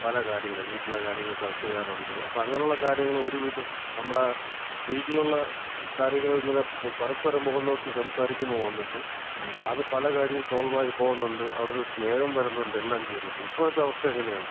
പല കാര്യങ്ങള്, വീട്ടിലെ കാര്യങ്ങള് ചർച്ച ചെയ്യാറുണ്ട്. അപ്പം അങ്ങനെയുള്ള കാര്യങ്ങള് ഒരു വിധം നമ്മടെ വീട്ടിലുള്ള കാര്യങ്ങൾ ഇങ്ങനെ പരസ്പരം മുഖം നോക്കി സംസാരിക്കുമ്പം വന്നിട്ട്, അത് പല കാര്യങ്ങളും സോൾവ് ആയിപോകുന്നുണ്ട്. അവിടൊരു സ്നേഹം വരുന്നുണ്ട്. എല്ലാം ചെയ്യുന്നുണ്ട് ഇപ്പഴത്തെ അവസ്ഥ എങ്ങനെയാണ്?